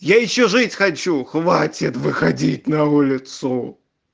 я ещё жить хочу хватит выходить на улицу